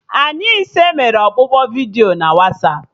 Anyị ise mere ọkpụkpọ vidiyo na Wasapụ